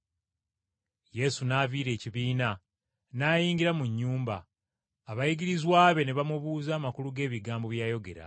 Yesu n’aviira ekibiina n’ayingira mu nnyumba, abayigirizwa be ne bamubuuza amakulu g’ebigambo bye yayogera.